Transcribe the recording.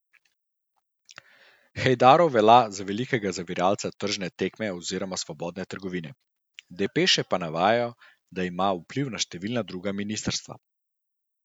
Hejdarov velja tudi za velikega zaviralca tržne tekme oziroma svobodne trgovine, depeše pa navajajo, da ima vpliv na številna druga ministrstva.